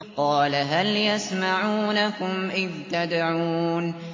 قَالَ هَلْ يَسْمَعُونَكُمْ إِذْ تَدْعُونَ